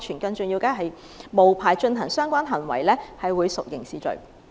更重要的是，無牌進行相關行為屬刑事罪行。